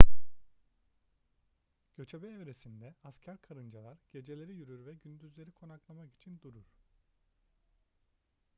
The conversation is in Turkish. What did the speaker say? göçebe evresinde asker karıncalar geceleri yürür ve gündüzleri konaklamak için durur